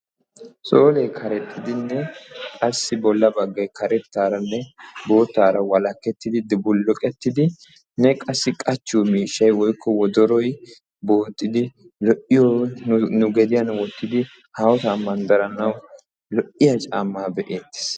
soolee karexxidinne qassi bolla baggay karettaaranne boottaara walakettidi dubulluqettidinne qassi qachchiyo miishshay woyikko wodoroy lo"iyo n gediyan wottidi haahosaa manddaranaassi lo"iya caammaa be'eettes.